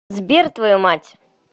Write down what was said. сбер твою мать